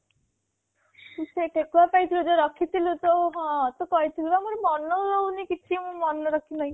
ସେଇ ଠେକୁଆ ପାଇଁ ତୁ ଏବେ ରଖିଥିଲୁ କୋଉ ହଁ ତୁ ପା କହିଥିଲୁ ମୋର ମନେ ରହୁନି କିଛି ମୁଁ ମନେ ରହୁନି କିଛି